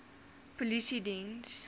polisiediens